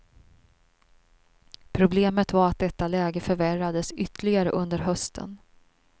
Problemet var att detta läge förvärrades ytterligare under hösten.